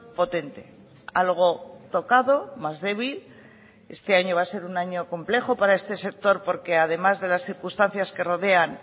potente algo tocado más débil este año va a ser un año complejo para este sector porque además de las circunstancias que rodean